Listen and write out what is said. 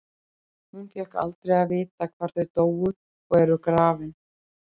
Hún fékk aldrei að vita hvar þau dóu og eru grafin.